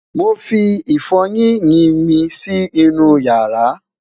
mọ fí ifoyin yín mí Si inú yaara